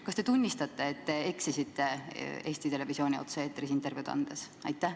Kas te tunnistate, et te eksisite Eesti Televisiooni otse-eetris intervjuud andes?